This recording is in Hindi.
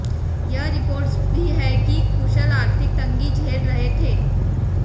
यह रिपोर्ट्स भी हैं कि कुशल आर्थिक तंगी झेल रहे थे